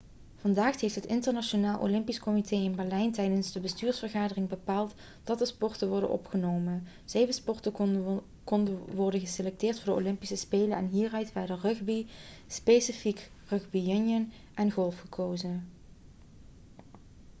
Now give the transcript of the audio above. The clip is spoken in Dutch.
vandaag heeft het internationaal olympisch comité in berlijn tijdens de bestuursvergadering bepaald dat de sporten worden opgenomen zeven sporten konden worden geselecteerd voor de olympische spelen en hieruit werden rugby specifiek rugby union en golf gekozen